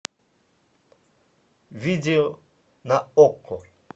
видео на окко